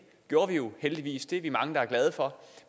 gjorde vi jo heldigvis og det er vi mange der er glade for